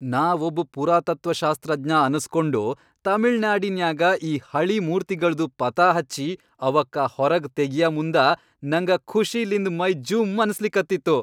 ನಾ ಒಬ್ ಪುರಾತತ್ವಶಾಸ್ತ್ರಜ್ಞ ಅನಸ್ಕೊಂಡು, ತಮಿಳ್ನಾಡಿನ್ಯಾಗ ಈ ಹಳೀ ಮೂರ್ತಿಗಳ್ದು ಪತಾಹಚ್ಚಿ ಅವಕ್ಕ ಹೊರಗ್ ತಗಿಯಮುಂದ ನಂಗ ಖುಷಿಲಿಂದ್ ಮೈ ಜುಂ ಅನ್ಸಲಿಕತ್ತಿತ್ತು.